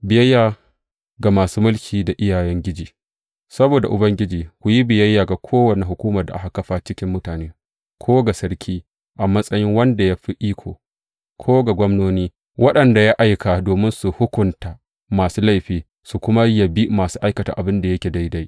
Biyayya ga masu mulki da iyayengiji Saboda Ubangiji, ku yi biyayya ga kowace hukumar da aka kafa cikin mutane, ko ga sarki, a matsayi wanda ya fi iko, ko ga gwamnoni, waɗanda ya aika domin su hukunta masu laifi su kuma yabi masu aikata abin da yake daidai.